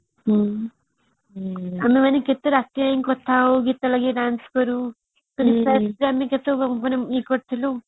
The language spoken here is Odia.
ହୁଁ ଆମେ ମାନେ କେତେ ରାତି ଯାକେ କଥା ହଉ ଗିତ ଲଗେଇ dance କରୁ ଇଏ କରୁଥିଲୁ